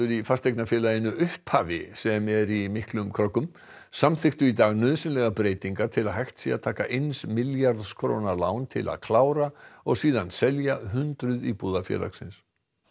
í fasteignafélaginu upphafi sem er í miklum kröggum samþykktu í dag nauðsynlegar breytingar til að hægt sé að taka eins milljarðs króna lán til að klára og síðan selja hundruð íbúða félagsins